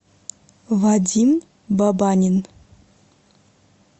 вадим бабанин